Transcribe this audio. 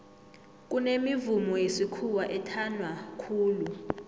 kunemivumo yesikhuwa ethanwa khulu